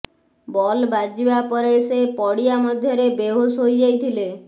ball ବାଜିବା ପରେ ସେ ପଡ଼ିଆ ମଧ୍ୟରେ ବେହୋସ ହୋଇଯାଇଥିଲେ